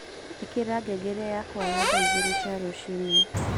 ĩkĩra ngengere yakwa ya thaa ĩgiri cia rucĩnĩ